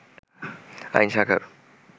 আইন শাখার